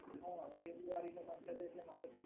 હા, ફેબ્રુઆરીનો મંથ હતો એટલે મારે તો